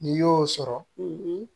N'i y'o sɔrɔ